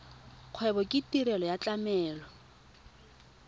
kgwebo ke tirelo ya tlamelo